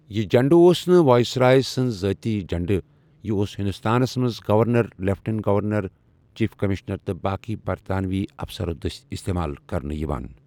یہِ جھنڈٕ اوس نہٕ وائسرائے سنٛد ذٲتی جھنڈ، یہِ اوس ہندوستانَس منٛز governor, lieutenant governor, chief commissioner تہٕ باقی برطانوی افسرو دٔسۍ استعمال کرنہٕ یوان ۔